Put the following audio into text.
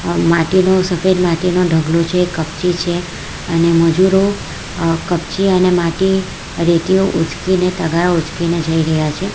માટીનું સફેદ માટીનો ઢગલો છે કપચી છે અને મજૂરો અહ કપચી અને માટી રેતીઓ ઊંચકીને તગારો ઉચકીને જઈ રહ્યા છે.